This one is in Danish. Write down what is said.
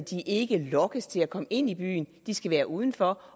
ikke lokkes til at komme ind i byen de skal være uden for